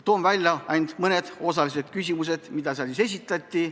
Toon välja mõned olulisemad küsimused, mis seal esitati.